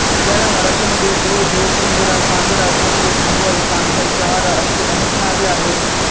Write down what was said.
याला मराठी मध्ये घो घो पिंजरा पांजरा छोटे घुबड कानेल चहारा अशी अनेक नावे आहेत